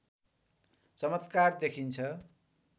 चमत्कार देखिन्छ